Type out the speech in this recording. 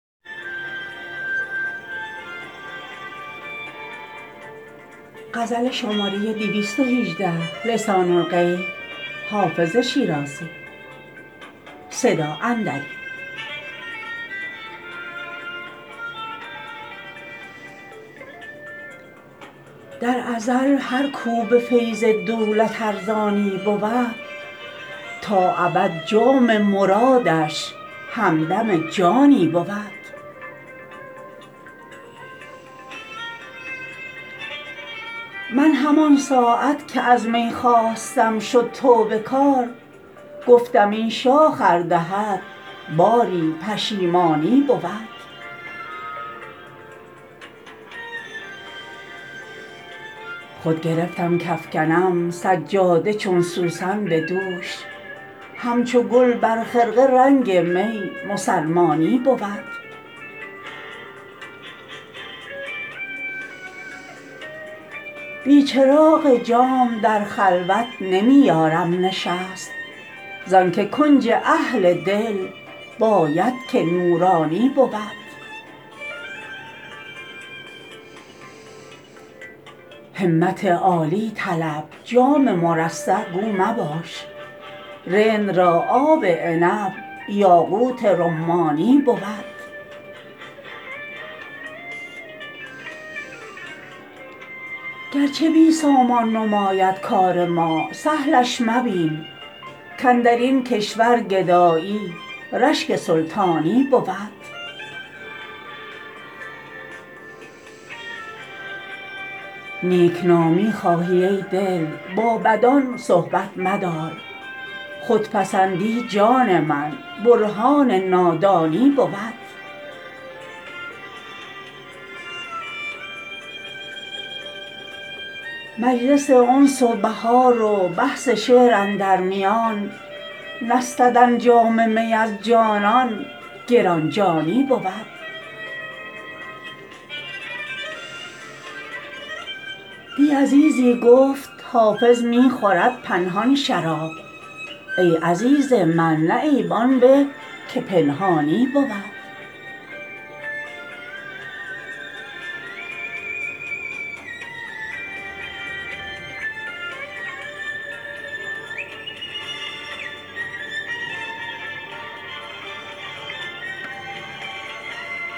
در ازل هر کو به فیض دولت ارزانی بود تا ابد جام مرادش همدم جانی بود من همان ساعت که از می خواستم شد توبه کار گفتم این شاخ ار دهد باری پشیمانی بود خود گرفتم کافکنم سجاده چون سوسن به دوش همچو گل بر خرقه رنگ می مسلمانی بود بی چراغ جام در خلوت نمی یارم نشست زان که کنج اهل دل باید که نورانی بود همت عالی طلب جام مرصع گو مباش رند را آب عنب یاقوت رمانی بود گرچه بی سامان نماید کار ما سهلش مبین کاندر این کشور گدایی رشک سلطانی بود نیک نامی خواهی ای دل با بدان صحبت مدار خودپسندی جان من برهان نادانی بود مجلس انس و بهار و بحث شعر اندر میان نستدن جام می از جانان گران جانی بود دی عزیزی گفت حافظ می خورد پنهان شراب ای عزیز من نه عیب آن به که پنهانی بود